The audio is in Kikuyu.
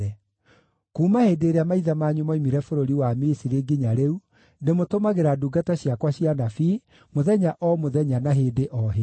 Kuuma hĩndĩ ĩrĩa maithe manyu moimire bũrũri wa Misiri nginya rĩu, ndĩmũtũmagĩra ndungata ciakwa cia anabii, mũthenya o mũthenya, na hĩndĩ o hĩndĩ.